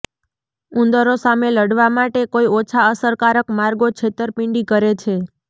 ઉંદરો સામે લડવા માટે કોઈ ઓછા અસરકારક માર્ગો છેતરપિંડી કરે છે